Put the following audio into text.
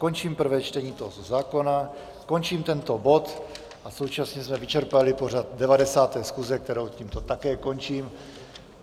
Končím prvé čtení tohoto zákona, končím tento bod a současně jsme vyčerpali pořad 90. schůze, kterou tímto také končím.